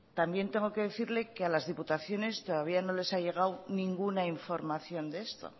también tengo que decirle que a las diputaciones todavía no les han llegado ninguna información de esto